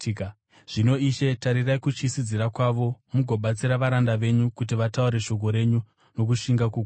Zvino, Ishe, tarirai kutyisidzira kwavo mugobatsira varanda venyu kuti vataure shoko renyu nokushinga kukuru.